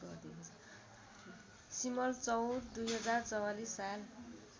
सिमलचौर २०४४ साल